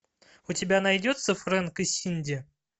у тебя найдется фрэнк и синди